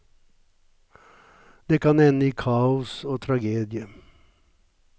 Det kan ende i kaos og tragedie.